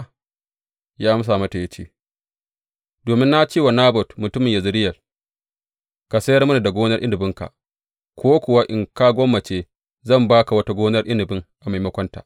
Sai ya amsa mata, ya ce, Domin na ce wa Nabot mutumin Yezireyel, Ka sayar mini gonar inabinka; ko kuwa in ka gwammace, zan ba ka wata gonar inabi a maimakonta.’